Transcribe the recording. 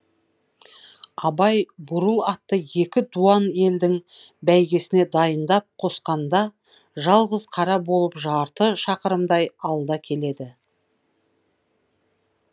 абай бурыл атты екі дуан елдің бәйгесіне дайындап қосқанда жалғыз қара болып жарты шақырымдай алда келеді